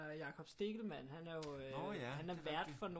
Jakob Stegelmann han er jo han er vært for